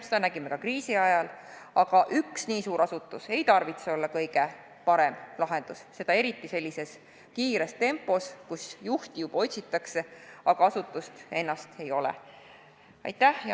Seda nägime ka kriisi ajal, aga üks nii suur asutus ei tarvitse olla kõige parem lahendus, seda eriti sellise kiire tempo puhul, kus juhti juba otsitakse, aga asutust ennast veel ei ole.